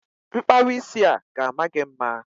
Mkpawa isi a ga-ama gị mma.